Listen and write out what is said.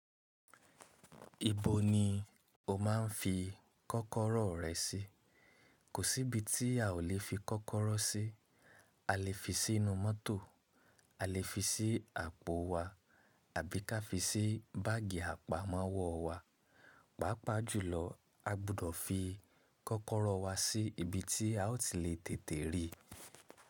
Ibo ni o máa ń fi kọ́kọ́rọ́ rẹ sí? Kò sí ibi tí a ò lè fi kọ́kọ́rọ́ sí. A lè fi sínú mọ́tò, a lè fi sí àpò wa àbí ká fi sí báàgì àpamọ́wọ́ wa. Pàápàá jùlọ a gbọdọ̀ fi kọ́kọ́rọ́ wa sí ibi tí a ó ti lè tètè rí.